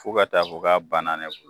Fo ka taa fo k'a banna ne bolo